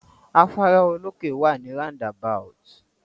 Afárá olókè wà ni roundabout.